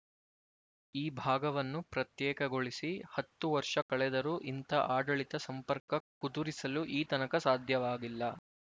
ಈ ಭಾಗವನ್ನು ಪ್ರತ್ಯೇಕಗೊಳಿಸಿ ಹತ್ತು ವರ್ಷ ಕಳೆದರೂ ಇಂಥ ಆಡಳಿತ ಸಂಪರ್ಕ ಕುದುರಿಸಲು ಈ ತನಕ ಸಾಧ್ಯವಾಗಿಲ್ಲ